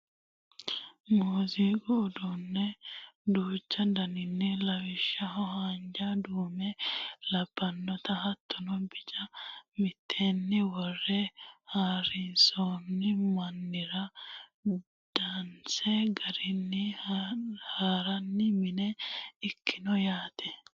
muziiqu uduunne duucha daninni lawishshaho haanja duume labbannota hattono bica mitteenni worre hasiranno mannira danise garinni hirranni mine ikkanno yaate.